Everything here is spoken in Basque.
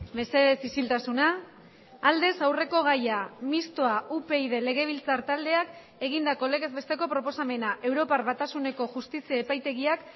mesedez isiltasuna aldez aurreko gaia mistoa upyd legebiltzar taldeak egindako legez besteko proposamena europar batasuneko justizia epaitegiak